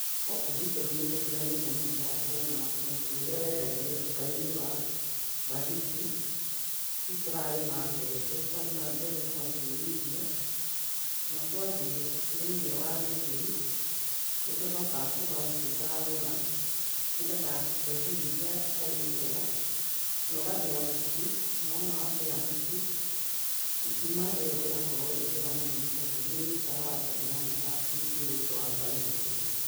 Gũkũ gwĩtũ rĩu nĩtũtiganĩte na ũhoro wa kũgũra mũtu ũrĩa wendagio nduka-inĩ wa mbagiti, rĩu tũrarĩma mbembe, twarĩma mbembe tũgaciũmithia, na twathiĩ thĩiniĩ wa gĩthĩi nĩtũcokaga tũgacicagũra nĩgetha tweherie iria itarĩ njega na ũgathĩa mũtu na wona wathĩa mũtu ngima ĩo ĩgakorwo ĩ njega tondũ nĩ ĩnyitaga nda ndĩhana ta mũtu ũyũ ũngĩ wa mbagiti.